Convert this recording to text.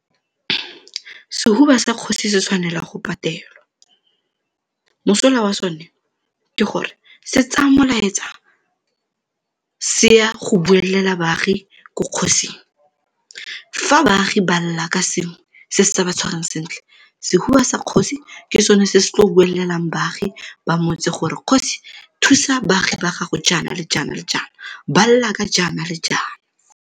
Sehuba sa kgosi se tshwanela go patelwa. Mosola wa sone ke gore se tsaya molaetsa se ya go buelela baagi ko kgosing. Fa baagi ba lela ka sengwe se se sa ba tshwarang sentle, sehuba sa kgosi ke sone se se tlo buelelang baagi ba motse gore, kgosi thusa baagi ba gago jaana le jaana le jaana, ba lela ka jaana le jaana.